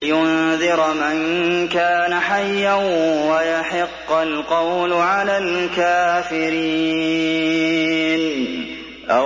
لِّيُنذِرَ مَن كَانَ حَيًّا وَيَحِقَّ الْقَوْلُ عَلَى الْكَافِرِينَ